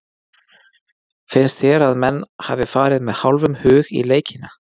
Finnst þér að menn hafi farið með hálfum hug í leikina?